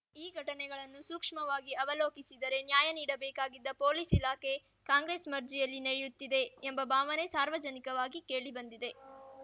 ಈ ಘಟನೆಗಳನ್ನು ಸೂಕ್ಷ್ಮವಾಗಿ ಅವಲೋಕಿಸಿದರೆ ನ್ಯಾಯ ನೀಡಬೇಕಾಗಿದ್ದ ಪೊಲೀಸ್‌ ಇಲಾಖೆ ಕಾಂಗ್ರೆಸ್‌ ಮರ್ಜಿಯಲ್ಲಿ ನಡೆಯುತ್ತಿದೆ ಎಂಬ ಭಾವನೆ ಸಾರ್ವಜನಿಕವಾಗಿ ಕೇಳಿಬಂದಿದೆ